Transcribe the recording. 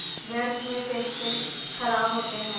व्यर्थ में पैसे ख़राब होते हैं